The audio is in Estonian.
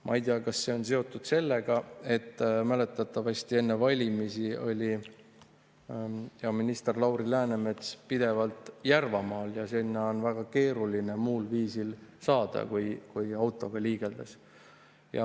Ma ei tea, kas see on seotud sellega, et mäletatavasti enne valimisi oli hea minister Lauri Läänemets pidevalt Järvamaal ja sinna on väga keeruline muul viisil saada kui autoga liigeldes.